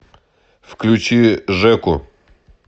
включи жеку